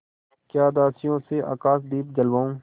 या दासियों से आकाशदीप जलवाऊँ